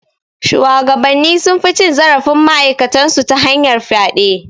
Shuwagabanni sun fi cin zarafin ma'aikatan su ta hanyar fyaɗe.